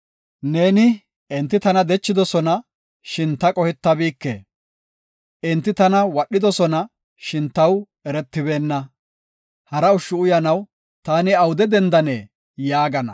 Neeni, “Enti tana dechidosona; shin ta qohetabike. Enti tana wadhidosona; shin taw eretibeenna. Hara ushshu uyanaw taani awude dendanee?” yaagana.